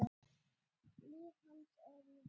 Líf hans er í rúst.